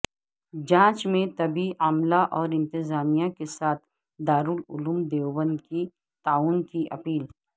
جانچ میں طبی عملہ اور انتظامیہ کے ساتھ دارالعلوم دیوبند کی تعاون کی اپیل